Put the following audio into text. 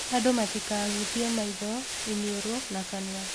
Andũ matikahutie maitho, iniũrũ na kanua